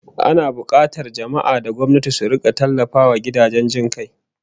Ana bukatar jama'a da gwamnati su rika tallafawa gidajen jin kai